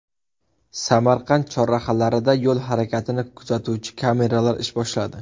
Samarqand chorrahalarida yo‘l harakatini kuzatuvchi kameralar ish boshladi.